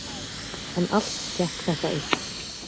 En allt gekk þetta upp.